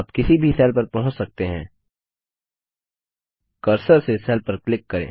आप किसी भी सेल पर पहुँच सकते हैं कर्सर से सेल पर क्लिक करें